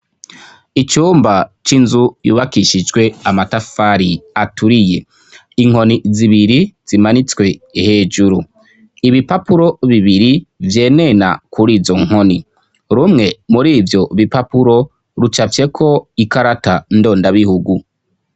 icumba c'inzu yubakishijwe amatafari aturiye, inkoni zibiri zimanitswe hejuru, ibipapuro bibiri vyenena kuri izo nkoni, rumwe mur'ivyo bipapuro rucafyeko ikarata ndondabihugu.